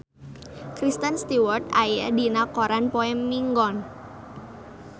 Kristen Stewart aya dina koran poe Minggon